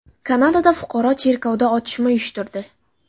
Kanadada fuqaro cherkovda otishma uyushtirdi.